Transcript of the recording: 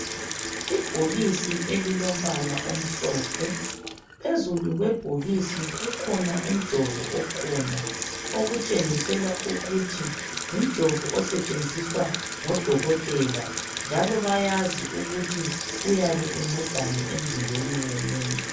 Ibhokisi elilombala omhlophe. Phezulu kwebhokisi kukhona umjovo okhona okutshengisela ukuthi ngumjovo osetshenziswa ngodokotela njalo bayazi ukuthi uyabe uncedani emzimbeni womuntu.